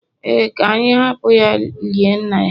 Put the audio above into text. Ee, ka anyị hapụ ya lie nna ya